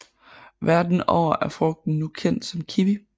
Verden over er frugten nu kendt som kiwi